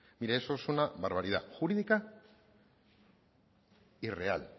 mire eso es una barbaridad jurídica y real